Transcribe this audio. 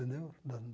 Entendeu? Da